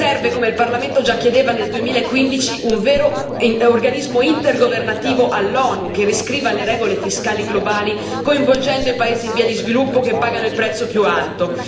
Serve, come il Parlamento già chiedeva nel 2015, un vero organismo intergovernativo all'ONU che riscriva le regole fiscali globali, coinvolgendo i paesi in via di sviluppo che pagano il prezzo più alto.